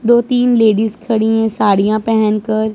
दो तीन लेडिस खड़ी हैं साड़ियां पहेन कर।